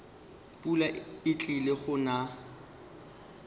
pula e tlile go na